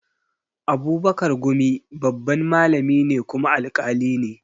Abubakar gumi babban malami ne kuma alƙali ne